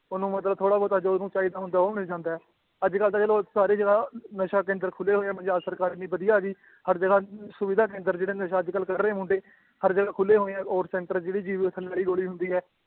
ਉਹਨੂੰ ਮਤਲਬ ਥੋੜ੍ਹਾ ਬਹੁਤਾ ਜੋ ਉਹਨੂੰ ਚਾਹੀਦਾ ਹੁੰਦਾ ਹੈ ਉਹ ਮਿਲ ਜਾਂਦਾ ਹੈ, ਅੱਜ ਕੱਲ੍ਹ ਤਾਂ ਚਲੋ ਸਾਰੀ ਜਗ੍ਹਾ ਨਸ਼ਾ ਕੇਂਦਰ ਖੁੱਲੇ ਹੋਏ ਹੈ ਪੰਜਾਬ ਸਰਕਾਰ ਇੰਨੀ ਵਧੀਆ ਆ ਗਈ, ਹਰ ਜਗ੍ਹਾ ਸੁਵਿਧਾ ਕੇਂਦਰ ਜਿਹੜਾ ਨਸ਼ਾ ਅੱਜ ਕੱਲ੍ਹ ਕਰ ਰਹੇ ਮੁੰਡੇ ਹਰ ਜਗ੍ਹਾ ਖੁੱਲੇ ਹੋਏ ਆ, ਔਰ center ਜਿਹੜੀ ਜੀਭ ਦੇ ਥੱਲੇ ਵਾਲੀ ਗੋਲੀ ਹੁੰਦੀ ਹੈ